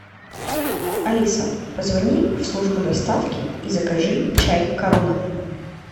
алиса позвони в службу доставки и закажи чай корона